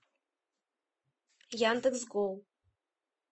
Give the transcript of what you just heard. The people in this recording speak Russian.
яндекс гоу